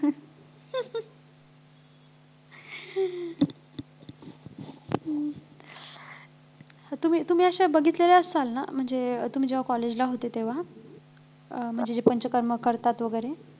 तुम्ही तुम्ही अशा बघितलेल्या असाल ना म्हणजे तुम्ही जेव्हा college ला होते तेव्हा अं म्हणजे पंचकर्म करतात वैगेरे